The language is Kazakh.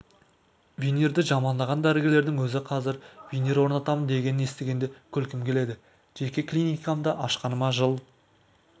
винирды жамандаған дәрігерлердің өзі қазір винир орнатамын дегенін естігенде күлкім келеді жеке клиникамды ашқаныма жыл